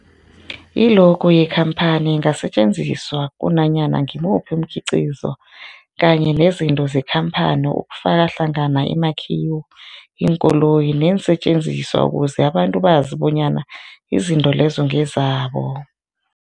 I-logo yekhamphani ingasetjenziswa kunanyana ngimuphi umkhiqizo kanye nezinto zekhamphani okufaka hlangana imakhiwo, iinkoloyi neensentjenziswa ukuze abantu bazi bonyana izinto lezo ngezabo.